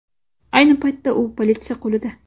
Ayni paytda u politsiya qo‘lida.